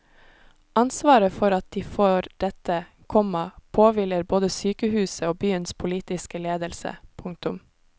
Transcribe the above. Ansvaret for at de får dette, komma påhviler både sykehuset og byens politiske ledelse. punktum